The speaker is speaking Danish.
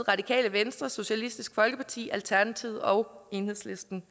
radikale venstre socialistisk folkeparti alternativet og enhedslisten